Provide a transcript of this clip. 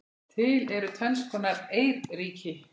Til eru tvenns konar eyríki